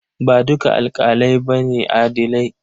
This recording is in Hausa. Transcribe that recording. Ba dukan alaƙalai ba ne adilai.